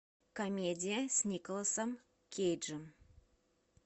комедия с николасом кейджем